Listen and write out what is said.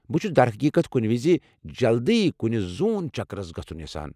بہٕ چھُس در حقیقت كُنہِ وِزِ جلدی كُنۍ زو٘ن چكرس گژُھن یژھان ۔